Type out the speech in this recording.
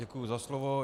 Děkuji za slovo.